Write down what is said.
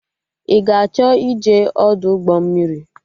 Ị ga-achọ ịje Ọdụ ụgbọ mmiri?